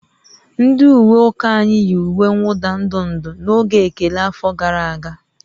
Ndị ukwe ụka anyị yi uwe mwụda ndụ ndụ n'oge ekele afọ gara aga